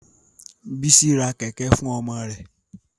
Bísí ra kẹ̀kẹ́ fún ọmọ rẹ̀